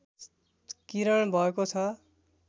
किरण भएको छ